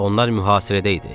Onlar mühasirədə idi.